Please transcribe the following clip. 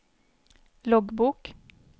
loggbok